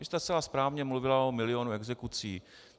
Vy jste zcela správně mluvila o milionu exekucí.